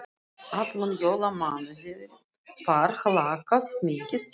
Allan jólamánuðinn var hlakkað mikið til þeirra.